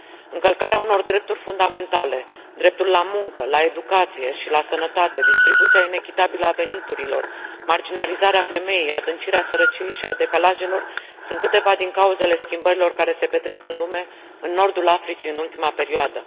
Încălcarea unor drepturi fundamentale dreptul la muncă, la educație și la sănătate, distribuția inechitabilă a veniturilor, marginalizarea femeii, adâncirea sărăciei și a decalajelor sunt câteva din cauzele schimbărilor care se petrec în lume, în Nordul Africii în ultima perioadă.